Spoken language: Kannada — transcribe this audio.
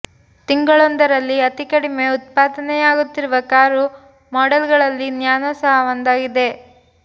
ತಿಂಗಳೊಂದರಲ್ಲಿ ಅತಿ ಕಡಿಮೆ ಉತ್ಪಾದನೆಯಾಗುತ್ತಿರುವ ಕಾರು ಮಾಡೆಲ್ಗಳಲ್ಲಿ ನ್ಯಾನೊ ಸಹ ಒಂದಾಗಿದೆ